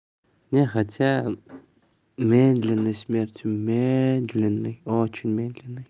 не хотя медленной смертью медленной очень медленной